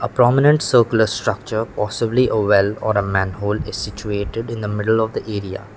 prominent circular structure possibly a well or a manhole is situated in the middle of the area.